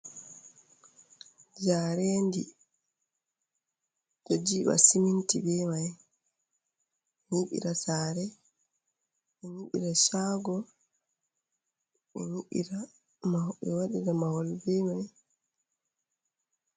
Jarendi, ɗo jiɓa siminti be mai, ɗo nyiɓira sare ɗo nyiɓira shago ɓe waɗira mahol be mai.